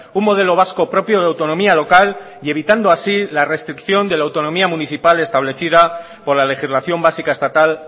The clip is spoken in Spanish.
un modelo vasco propio de autonomía local y evitando así la restricción de la autonomía municipal establecida por la legislación básica estatal